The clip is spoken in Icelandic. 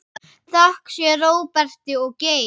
Þökk sé Róberti Geir.